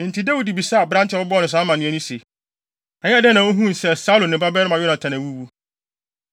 Enti Dawid bisaa aberante a ɔbɛbɔɔ no saa amanneɛ no se, “Ɛyɛɛ dɛn na wuhuu sɛ Saulo ne ne babarima Yonatan awuwu?”